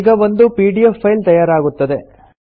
ಈಗ ಒಂದು PDF file ತಯಾರಾಗುತ್ತದೆ